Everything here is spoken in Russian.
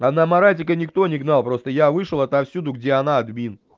а маратика никто не гнал просто я вышел отовсюду где она админ